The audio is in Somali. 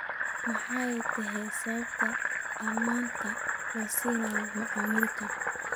Maxay tahay sababta ammaanta loo siinayo macmiilkan?